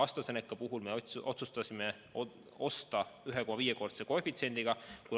AstraZeneca puhul me otsustasime osta 1,5-kordse koefitsiendiga.